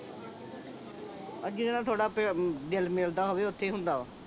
ਜਿਹਦੇ ਨਾਲ ਥੋੜਾ ਦਿਲ ਮਿਲਦਾ ਹੋਵੇ ਓਥੇ ਹੀ ਹੁੰਦਾ ਵਾ